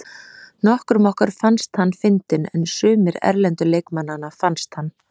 Nokkrum okkar fannst hann fyndinn en sumir erlendu leikmannanna fannst hann.